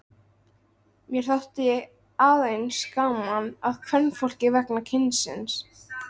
Mér þótti að eins gaman að kvenfólki vegna kynsins.